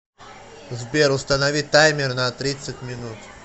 сбер установи таймер на тридцать минут